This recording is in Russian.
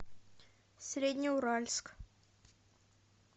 среднеуральск